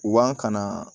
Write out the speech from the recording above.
Wa kana